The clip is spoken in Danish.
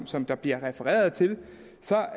som der bliver refereret til